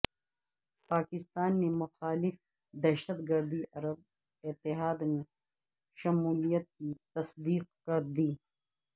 پاکستان نے مخالف دہشت گردی عرب اتحاد میں شمولیت کی تصدیق کر دی